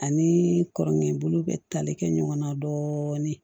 Ani kɔrɔkɛ bolo bɛ tali kɛ ɲɔgɔn na dɔɔnin